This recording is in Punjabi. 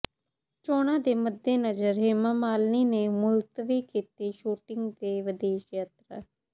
ਚੋਣਾਂ ਦੇ ਮੱਦੇਨਜ਼ਰ ਹੇਮਾ ਮਾਲਿਨੀ ਨੇ ਮੁਲਤਵੀ ਕੀਤੀ ਸ਼ੂਟਿੰਗ ਤੇ ਵਿਦੇਸ਼ ਯਾਤਰਾ